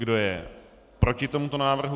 Kdo je proti tomuto návrhu?